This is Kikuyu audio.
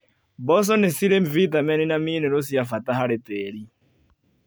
Mboco nĩcirĩ vitamini na minero cia bata harĩ tĩri.